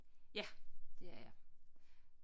Ja det er jeg